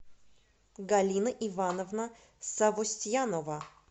галина ивановна савостьянова